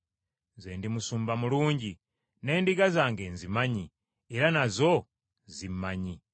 “Nze ndi musumba mulungi, n’endiga zange nzimanyi era nazo zimmanyi.